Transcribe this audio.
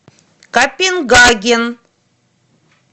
копенгаген